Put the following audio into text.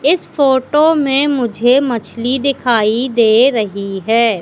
इस फोटो में मुझे मछली दिखाई दे रही है।